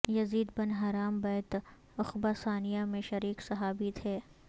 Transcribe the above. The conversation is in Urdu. یزید بن حرام بیعت عقبہ ثانیہ میں شریک صحابی تھے